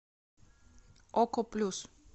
око плюс